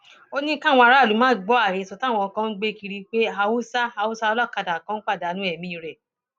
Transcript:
ó ní káwọn aráàlú má gbọ àhesọ táwọn kan ń gbé kiri pé haúsá haúsá olókàdá kan pàdánù ẹmí rẹ